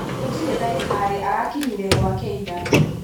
Gūtirī ndagītarī arakinyire gwake ira.